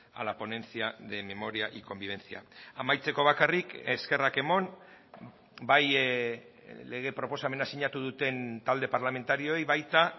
a la ponencia de memoria y convivencia amaitzeko bakarrik eskerrak eman bai lege proposamena sinatu duten talde parlamentarioei baita